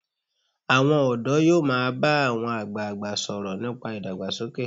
Àwọn ọ̀dọ́ yóò máa bá àwọn àgbagbà sọ̀rọ̀ nípa ìdàgbàsókè.